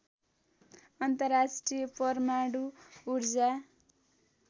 अन्तर्राष्ट्रिय परमाणु ऊर्जा